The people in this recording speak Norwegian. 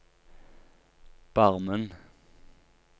Barmen